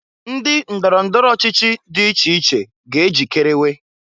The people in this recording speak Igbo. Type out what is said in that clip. Ndị ndọrọ ndọrọ ọchịchị dị iche iche ga ejikerewe.